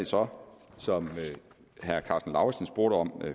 som herre karsten lauritzen spurgte om